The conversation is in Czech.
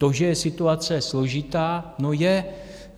To, že je situace složitá - no, je.